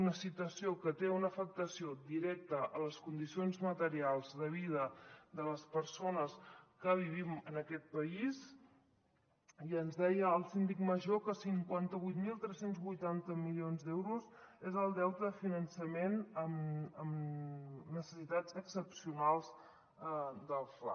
una situació que té una afectació directa a les condicions materials de vida de les persones que vivim en aquest país i ens deia el síndic major que cinquanta vuit mil tres cents i vuitanta milions d’euros és el deute de finançament en necessitats excepcionals del fla